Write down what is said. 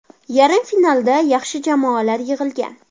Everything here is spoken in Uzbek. Yarim finalda yaxshi jamoalar yig‘ilgan.